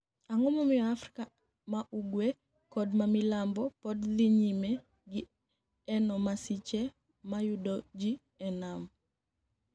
Anig'o momiyo Afrika ma ugwe kod ma milambo pod dhi niyime ni eno masiche mayudo ji e niam?